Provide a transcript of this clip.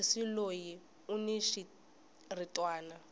sesi loyi uni xiritwani